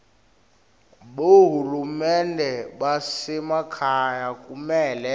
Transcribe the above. bohulumende basemakhaya kumele